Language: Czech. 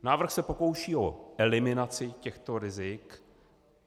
Návrh se pokouší o eliminaci těchto rizik.